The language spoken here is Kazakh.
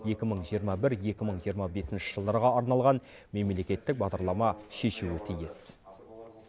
екі мың жиырма бір екі мың жиырма бесінші жылдарға арналған мемлекеттік бағдарлама шешуі тиіс